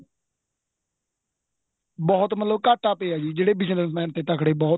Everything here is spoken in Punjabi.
ਬਹੁਤ ਮਤਲਬ ਘਾਟਾ ਪਇਆ ਜਿਹੜੇ business man ਤੇ ਤਕੜੇ ਬਹੁਤ